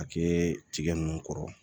A kɛ tigɛ nunnu kɔrɔ